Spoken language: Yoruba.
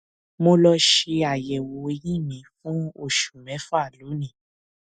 mo lọ ṣe àyẹwò eyín mi fún oṣù mẹfà lónìí